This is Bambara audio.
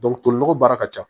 tolinɔgɔ baara ka ca